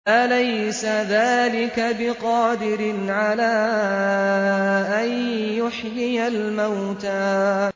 أَلَيْسَ ذَٰلِكَ بِقَادِرٍ عَلَىٰ أَن يُحْيِيَ الْمَوْتَىٰ